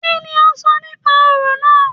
Kíni o sọ nípa orò náà?